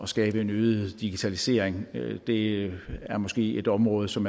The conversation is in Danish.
skabe en øget digitalisering det er måske et område som